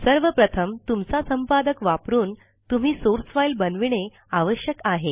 सर्व प्रथम तुमचा संपादक वापरून तुम्ही सोर्स फाइल बनविणे आवश्यक आहे